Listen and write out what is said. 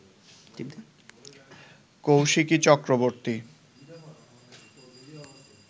Kaushiki Chakraborty